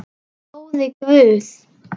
Góði Guð.